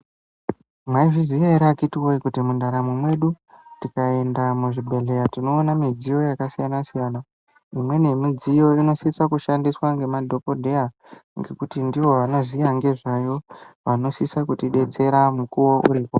Mwaizviziya ere akhiti woye kuti mundaramo mwedu tikaenda muzvibhehleya tinoona midziyo yakasiyana-siyana. Imweni yemidziyo inosisa kushandiswa ngemadhokodheya ngekuti ndivo vanoziya ngezvayo vanosisa kutidetsera mukuwo uripo.